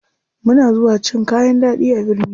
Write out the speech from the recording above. Muna zuwa cin kayan ɗaɗi a birni.